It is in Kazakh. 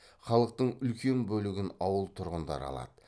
халықтың үлкен бөлігін ауыл тұрғындары алады